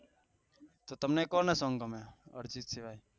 તમે કોના સોંગ ગમે